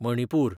Manipur